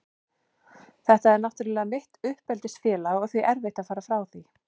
Þetta er náttúrlega mitt uppeldisfélag og því erfitt að fara frá því.